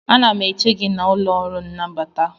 Ana m eche gị n'ụlọ ọrụ nnabata